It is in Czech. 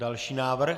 Další návrh.